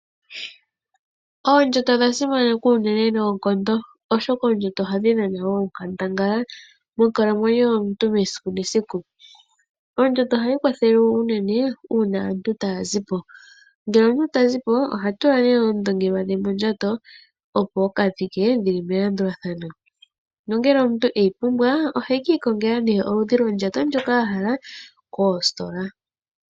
Oondjato odha simanekwa unene noonkondo, oshoka oondjato ohadhi dhana onkandangala monkalamwenyo yomuntu mesiku nesiku. Oondjato ohayi kwathele wo unene una aantu taya zi po. Ngele omuntu ta zi po oha tula ne oondongelwa dhe mondjato opo a ka thike dhili melandulathano. Nongele omuntu eyi pumbwa ohe kiikongela ne oludhi lwondjato ndjoka ahala koositola.